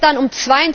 Gestern um